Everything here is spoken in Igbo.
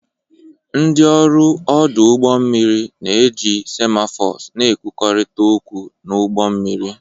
Ndị ọrụ ọdụ ụgbọ mmiri na-eji semaphores na-ekwurịta okwu n'ụgbọ mmiri.